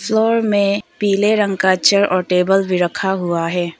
में पीले रंग का चेयर और टेबल भी रखा हुआ है।